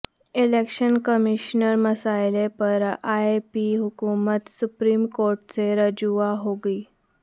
election commissioner مسئلہ پر A P حکومت سپریم کورٹ سے رجوع ہوگی